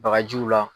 Bagajiw la